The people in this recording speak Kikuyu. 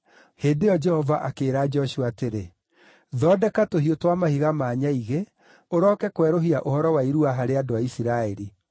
Hĩndĩ ĩyo Jehova akĩĩra Joshua atĩrĩ, “Thondeka tũhiũ twa mahiga ma nyaigĩ, ũroke kwerũhia ũhoro wa irua harĩ andũ a Isiraeli.”